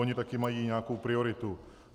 Ony taky mají nějakou prioritu.